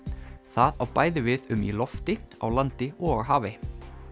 það á við bæði við um í lofti á landi og á hafi